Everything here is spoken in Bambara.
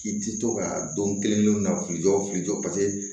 K'i ti to ka don kelen-kelen na k'i jɔ k'i jɔ paseke